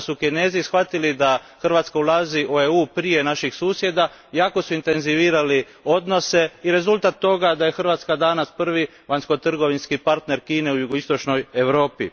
Kada su Kinezi shvatili da Hrvatska ulazi u EU prije naših susjeda, jako su intenzivirali odnose i rezultat toga je da je Hrvatska danas prvi vanjsko trgovinski partner Kine u jugoistočnoj Europi.